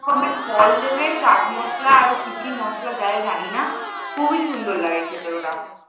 বিভিন্ন রকমের ফল দেবে চাট মসলা আরো কি কি মসলা দেয় জানিনা খুবই সুন্দর লাগে খেতে ওটা।